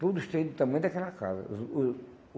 Tudo cheio do tamanho daquela casa. Os o